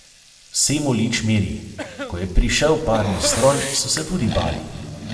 Semolič miri: "Ko je prišel parni stroj, so se tudi bali.